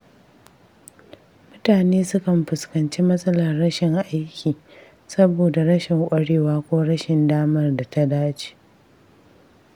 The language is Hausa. Mutane sukan fuskanci matsalar rashin aiki saboda rashin ƙwarewa ko rashin damar da ta dace.